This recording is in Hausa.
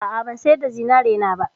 A'a, ban sayar da zinarina ba.